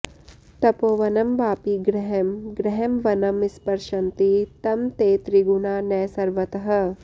तपोवनं वापि गृहं गृहं वनं स्पृशन्ति तं ते त्रिगुणा न सर्वतः